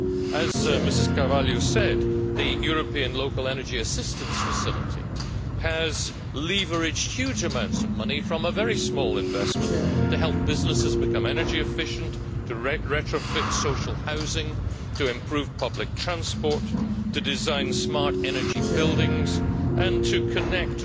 As Ms Carvalho said, the European Local Energy Assistance Facility has leveraged huge amounts of money from a very small investment to help businesses become energy efficient, to retrofit social housing, to improve public transport, to design smart energy buildings and to connect